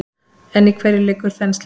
En í hverju liggur þenslan?